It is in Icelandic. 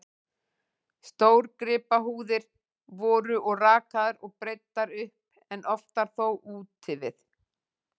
Stórgripahúðir voru og rakaðar og breiddar upp, en oftar þó úti við.